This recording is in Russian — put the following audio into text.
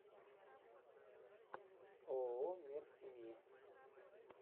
ооо мир семьи